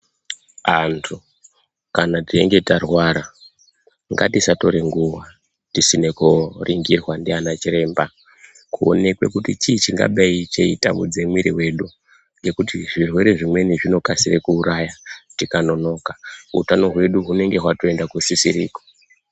Antu kana teinge tarwara ngatisatora nguwa tisina koningirwa nana chiremba kuonekwa kuti chii chinenge cheitambudza mwiri yedu ngekuti zvirwere zvimweni zvinobauraya tikanonoka ngekuti hutano hwedu hunenge hwakuenda kusisiriko.